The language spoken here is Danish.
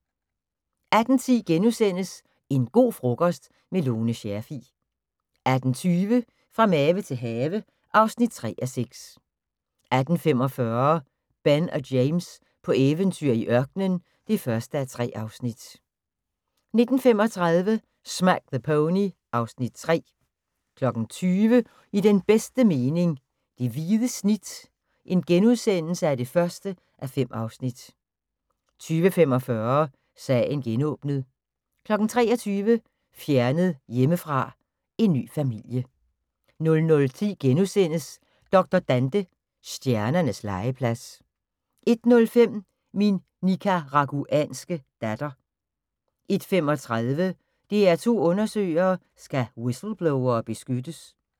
18:10: En go' frokost– med Lone Scherfig * 18:20: Fra have til mave (3:6) 18:45: Ben og James på eventyr i ørkenen (1:3) 19:35: Smack the Pony (Afs. 3) 20:00: I den bedste mening - det hvide snit (1:5)* 20:45: Sagen genåbnet 23:00: Fjernet hjemmefra: En ny familie 00:10: Dr. Dante – Stjernernes legeplads * 01:05: Min nicaraguanske datter 01:35: DR2 Undersøger: Skal whistleblowere beskyttes?